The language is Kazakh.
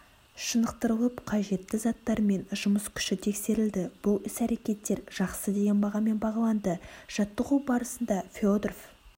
шынықтырылып қажетті заттармен жұмыс күші тексерілді бұл іс-әрекеттер жақсы деген бағамен бағаланды жаттығу барысында федоров